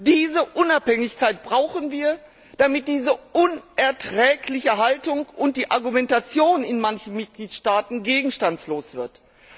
Diese Unabhängigkeit brauchen wir, damit diese unerträgliche Haltung und die Argumentation in manchen Mitgliedstaaten gegenstandslos werden.